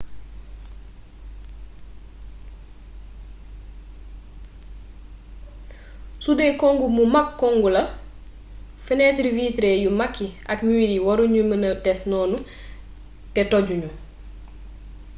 sudee congu mu mag congu la fenêtre vitrée yu mag yi ak mur yi waru ñu mëna des noonu te toju ñu